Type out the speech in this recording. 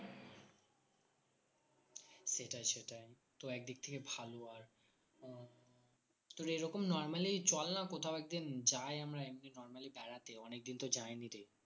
সেটাই সেটাই তো একদিক থেকে ভালো আর উম তো এরকম normally চল না কোথাও একদিন যাই আমরা এমনি normally বেড়াতে অনেকদিন তো যাইনি রে